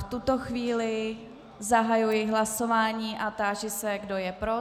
V tuto chvíli zahajuji hlasování a táži se, kdo je pro?